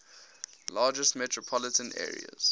largest metropolitan areas